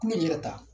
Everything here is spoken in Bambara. Kulo yɛrɛ ta